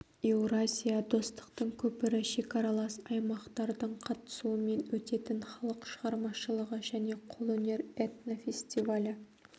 еуразия достықтың көпірі шекаралас аймақтардың қатысуымен өтетін халық шығармашылығы және қолөнер этнофестивалі